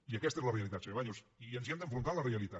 i aquesta és la realitat senyor baños i ens hi hem d’enfrontar amb la realitat